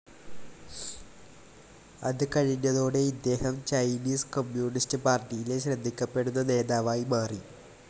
അത് കഴിഞ്ഞതോടെ ഇദ്ദേഹം ചൈനീസ് കമ്മ്യൂണിസ്റ്റ്‌ പാർട്ടിയിലെ ശ്രദ്ധിക്കപ്പെടുന്ന നേതാവായി മാറി.